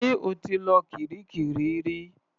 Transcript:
Ṣé o ti lọ kiríkirì rí?